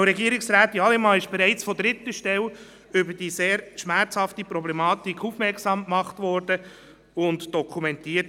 Die Frau Regierungsrätin wurde bereits von dritter Stelle auf diese sehr schmerzhafte Problematik aufmerksam gemacht und dokumentiert.